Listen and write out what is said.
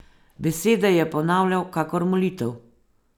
Besede je ponavljal kakor molitev.